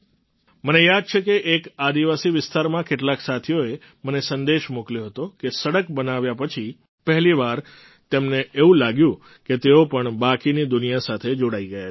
મને યાદ છે કે એક આદિવાસી વિસ્તારમાં કેટલાક સાથીઓએ મને સંદેશ મોકલ્યો હતો કે સડક બનાવ્યા પછી પહેલી વાર તેમને એવું લાગ્યું કે તેઓ પણ બાકીની દુનિયા સાથે જોડાઈ ગયા છે